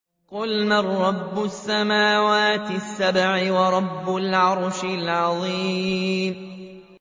قُلْ مَن رَّبُّ السَّمَاوَاتِ السَّبْعِ وَرَبُّ الْعَرْشِ الْعَظِيمِ